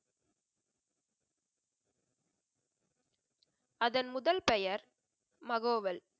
அதன் முதல் பெயர் மகோவள்.